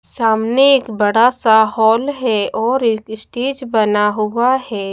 सामने एक बड़ा सा हॉल है और स्टेज बना हुआ है।